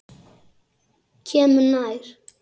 Kemur nær.